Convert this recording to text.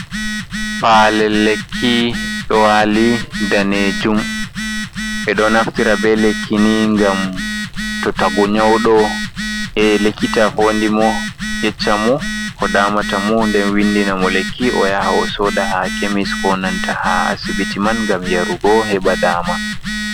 Palel lekki ɗo wali daneejuum, ɓe ɗo naftira be lekki ni gam to tagu nyauɗo ye lekita fodi mo yeccamo ko damata mo, den windina mo lekki o yaha o soda ha kemis, konanta ha asibiti man, gam yarugo heɓa dama.